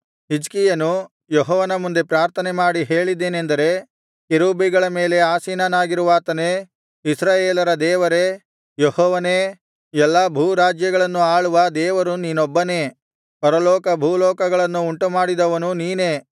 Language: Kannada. ಹಿಜ್ಕೀಯನು ಯೆಹೋವನ ಮುಂದೆ ಪ್ರಾರ್ಥನೆ ಮಾಡಿ ಹೇಳಿದ್ದೇನೆಂದರೆ ಕೆರೂಬಿಗಳ ಮೇಲೆ ಆಸೀನನಾಗಿರುವಾತನೇ ಇಸ್ರಾಯೇಲರ ದೇವರೇ ಯೆಹೋವನೇ ಎಲ್ಲಾ ಭೂರಾಜ್ಯಗಳನ್ನು ಆಳುವ ದೇವರು ನೀನೊಬ್ಬನೇ ಪರಲೋಕಭೂಲೋಕಗಳನ್ನು ಉಂಟುಮಾಡಿದವನು ನೀನೇ